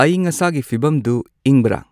ꯑꯏꯪ ꯑꯁꯥꯒꯤ ꯐꯤꯕꯝꯗꯨ ꯏꯪꯕꯔ